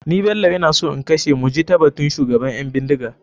Ni bello ina so in kashe mujitabatun shugaban ƴan bindiga.